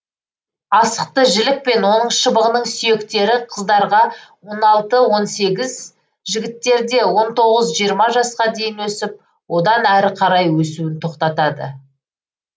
асықты жілік пен оның шыбығының сүйектері қыздарға он алты он сегіз жігіттерде он тоғыз жиырма жасқа дейін өсіп одан әрі қарай өсуін тоқтатады